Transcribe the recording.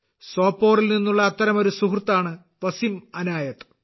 സോപോറിൽ നിന്നുള്ള അത്തരമൊരു സുഹൃത്താണ് വസീം അനായത്ത്